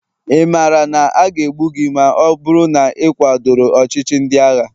ị maara na a ga-egbu gị ma ọ bụrụ na ị kwadoro ọchịchị ndị agha?